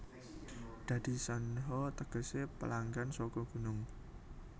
Dadi Shanha tegese pelanggan saka gunung